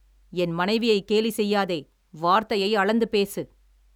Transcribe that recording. என் மனைவியைக் கேலி செய்யாதே! வார்த்தையை அளந்து பேசு.